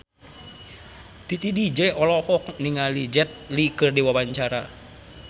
Titi DJ olohok ningali Jet Li keur diwawancara